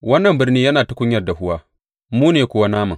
Wannan birni yana tukunyar dahuwa, mu ne kuwa naman.’